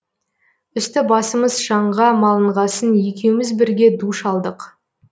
үсті басымыз шаңға малынғасын екеуміз бірге душ алдық